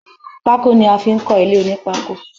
Pako ni a fi ń kọ ilé onipako